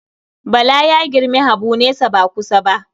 Bala ya girmi Habu nesa ba kusa ba.